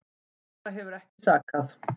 Aðra hefur ekki sakað